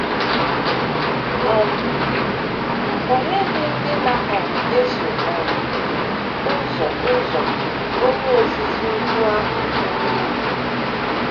um O NYEGHỊ ndị na um - eso um ụzọ ụzọ Onye Ozizi Ukwu ahụ ọnụ okwu.